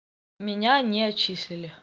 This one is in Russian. меня не отчислили